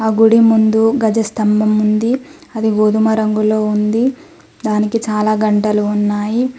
గుడి ముందు గజ స్థంభం ఉంది అది గోధుమ రంగులో ఉంది దానికి చాలా గంటలు ఉన్నాయి.